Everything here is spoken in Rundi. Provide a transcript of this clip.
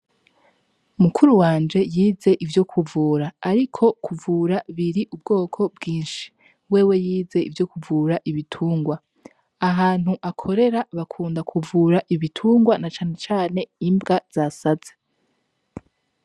Mukuru wanje yize ivyo kuvura, ariko kuvura biri ubwoko bwinshi. Wewe yize ivyo kuvura ibitungwa. Ahantu akorera bakunda kuvura ibitungwa na cane cane imbwa z’asaze.